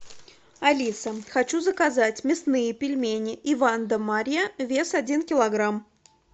алиса хочу заказать мясные пельмени иван да марья вес один килограмм